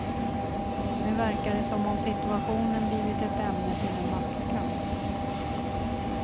Nu verkar det som om situationen blivit ett ämne till en maktkamp.